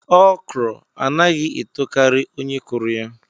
ọkrọ anaghị etokari onye kụrụ ya